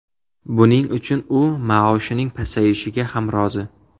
Buning uchun u maoshining pasayishiga ham rozi.